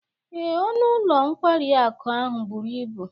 Ee, ọnụ ụlọ nkwari akụ ahụ buru ibu